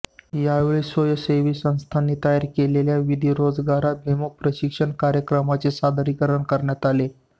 यावेळी स्वयंसेवी संस्थांनी तयार केलेल्या विविध रोजगाराभिमुख प्रशिक्षण कार्यक्रमांचे सादरीकरण करण्यात आले